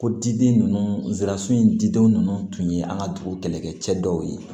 Ko diden ninnu zirasi in diden nunnu tun ye an ka dugu kɛlɛkɛcɛ dɔw ye